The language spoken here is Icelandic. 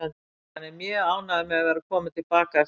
Hann er mjög ánægður með að vera kominn til baka eftir það.